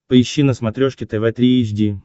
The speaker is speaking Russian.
поищи на смотрешке тв три эйч ди